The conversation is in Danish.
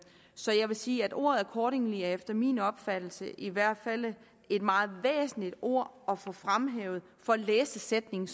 så jeg vil sige at ordet accordingly efter min opfattelse i hvert fald er et meget væsentligt ord at få fremhævet for at læse sætningen